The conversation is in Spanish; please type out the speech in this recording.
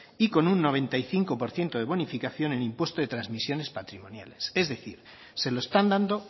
y con un noventa y cinco por ciento de bonificación en impuesto de transmisiones patrimoniales es decir se lo están dando